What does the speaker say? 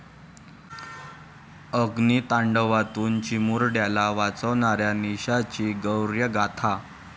अग्नितांडवातून चिमुरड्याला वाचवणाऱ्या निशाची शौर्यगाथा!